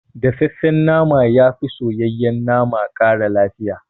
Dafaffen nama yafi soyayyen nama ƙara lafiya